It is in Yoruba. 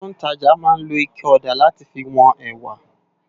Awòn tó n tàjá má n ló iké òdá làtí fi wón èwá